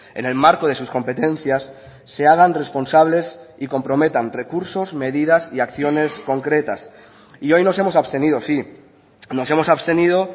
en el marco de sus competencias se hagan responsables y comprometan recursos medidas y acciones concretas y hoy nos hemos abstenido sí nos hemos abstenido